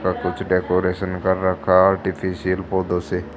सब कुछ डेकोरेशन कर रखा है फोटो से।